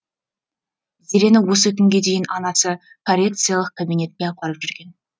зерені осы күнге дейін анасы коррекциялық кабинетке апарып жүрген